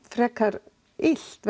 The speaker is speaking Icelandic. frekar illt